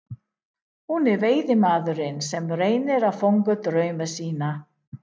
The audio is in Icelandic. Hún er veiðimaðurinn sem reynir að fanga drauma sína.